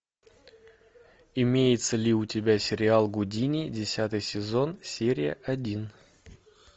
имеется ли у тебя сериал гудини десятый сезон серия один